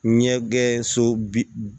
Ɲɛgɛn so bi